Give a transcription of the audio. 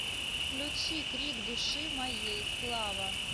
включи крик души моей слава